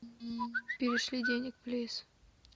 перешли денег плиз